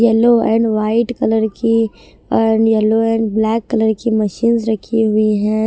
Yellow and white colour की yellow and black colour की machines रखी हुई हैं।